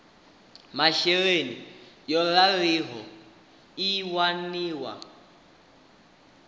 masheleni yo raliho i waniwa